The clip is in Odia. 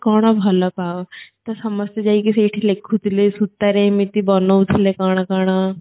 କଣ ଭଲ ପାଅ ତ ସମସ୍ତେ ଯାଇକୀ ସେଠି ଲେଖୁ ଥିଲେ ସୁତା ରେ ଏମିତି ବନଉ ଥିଲେ କଣ କଣ